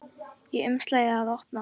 Í umslagi að opna.